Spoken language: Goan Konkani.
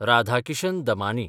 राधाकिशन दमानी